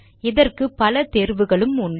இதற்கு பல தேர்வுகளும் உண்டு